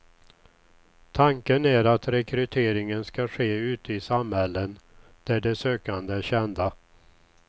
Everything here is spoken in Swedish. Tanken är att rekryteringen ska ske ute i samhällen där de sökande är kända.